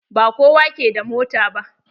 Ba kowa ke da mota ba.